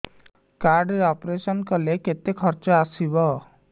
card ରେ operation କଲେ କେତେ ଖର୍ଚ ଆସିବ